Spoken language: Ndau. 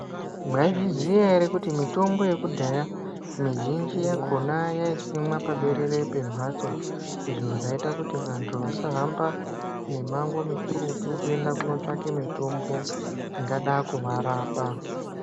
Maizviziya ere kuti mitombo yekudhaya mizhinji yakona yeisimwa paberere pembatso izvo zvaiita kuti vantu vasa hamba mimango mikurutu kunotsvake mitombo ingada varapa.